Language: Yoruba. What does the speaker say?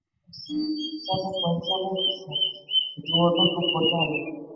sí seven poin seven percent ju ọdún tó kọjá lọ.